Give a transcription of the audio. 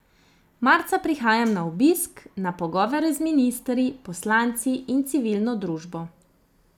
Marca prihajam na obisk, na pogovore z ministri, poslanci in civilno družbo.